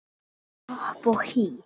Hopp og hí